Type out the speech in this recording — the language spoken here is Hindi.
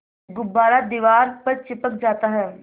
गुब्बारा दीवार पर चिपक जाता है